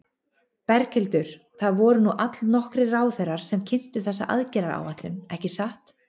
Berghildur, það voru nú allnokkrir ráðherrar sem kynntu þessa aðgerðaráætlun, ekki satt?